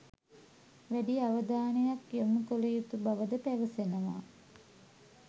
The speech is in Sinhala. වැඩි අවධානයක් යොමු කළ යුතු බවද පැවසෙනවා.